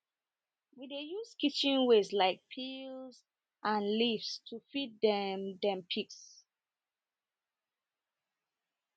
we dey use kitchen wastes like peels and leaves to feed dem dem pigs